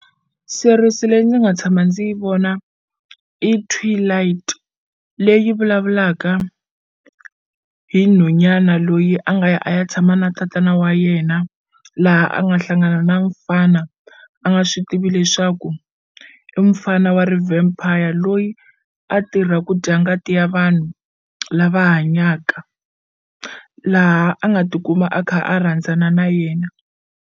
Series leyi ndzi nga tshama ndzi yi vona i Twilight leyi vulavulaka hi nhwanyana loyi a nga ya a ya tshama na tatana wa yena laha a nga hlangana na mufana a nga swi tivi leswaku i mufana wa ri vampire loyi a tirha ku dya ngati ya vanhu lava hanyaka laha a nga tikuma a kha a rhandzana na yena.